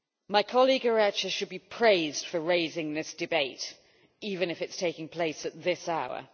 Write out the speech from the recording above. My colleague Iratxe should be praised for raising this debate, even if it is taking place at this hour.